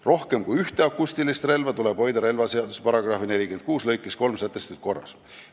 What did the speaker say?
Rohkem kui ühte akustilist relva tuleb hoida relvaseaduse § 46 lõikes 3 sätestatud korras.